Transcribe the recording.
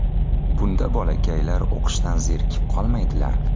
Bunda bolakaylar o‘qishdan zerikib qolmaydilar.